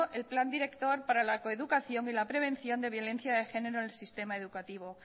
el plan director para la coeducación y la prevención de violencia de género en el sistema educativo